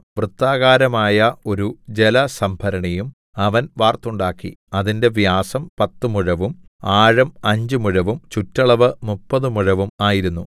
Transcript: വൃത്താകാരമായ ഒരു ജലസംഭരണിയും അവൻ വാർത്തുണ്ടാക്കി അതിന്റെ വ്യാസം പത്തു മുഴവും ആഴം അഞ്ച് മുഴവും ചുറ്റളവ് മുപ്പത് മുഴവും ആയിരുന്നു